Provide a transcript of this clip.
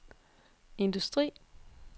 industri